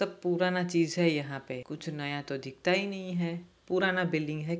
सब पुराना चीज हैयहाँ पे कुछ नया तो दिखता ही नही है पुराना बिल्डिंग है।